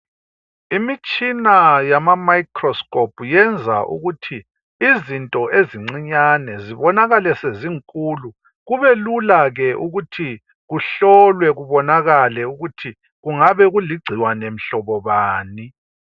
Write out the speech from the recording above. imitshina yama microscope yenza ukuthi izinto ezincinyane zibonakale zezinkulu kubelula ke ukuthi kuhlolwe kubonakale ukuthi kungabe kuligcikwane mhlobo bani